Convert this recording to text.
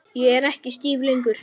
Ég er ekki stíf lengur.